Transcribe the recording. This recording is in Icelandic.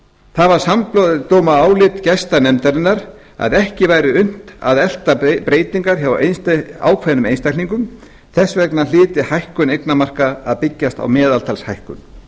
það var samdóma álit gesta nefndarinnar að ekki væri unnt að elta breytingar hjá ákveðnum einstaklingum þess vegna hlyti hækkun eignamarka að byggjast á meðaltalshækkun